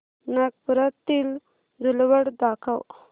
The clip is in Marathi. नागपुरातील धूलवड दाखव